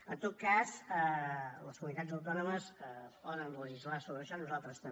en tot cas les comunitats autònomes poden legislar sobre això nosaltres també